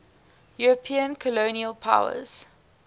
european colonial powers